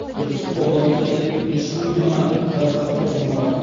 түрксіб ауданында тек үш мың үй ғана газға қосылмаған